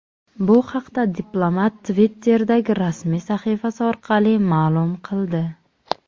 Bu haqda diplomat Twitter’dagi rasmiy sahifasi orqali ma’lum qildi .